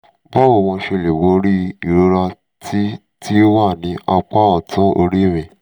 báwo ni mo ṣe lè borí ìrora tí tí ó wà ní apá ọ̀tún orí mi?